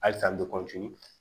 Hali ka